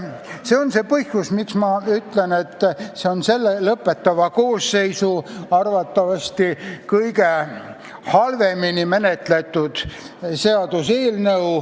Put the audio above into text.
See on see põhjus, miks ma ütlen, et see on selle, oma tööd lõpetava koosseisu arvatavasti kõige halvemini menetletud seaduseelnõu.